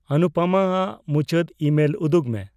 ᱚᱱᱩᱯᱚᱢᱟ ᱟᱜ ᱢᱩᱪᱟᱹᱫ ᱤᱢᱮᱞ ᱩᱫᱩᱜ ᱢᱮ